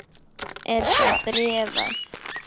Er það bréfað?